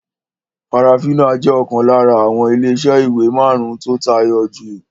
Farafina jẹ́ ọ̀kan lára àwọn ilé iṣẹ́ ìwé marun-un tí ó tayọ jù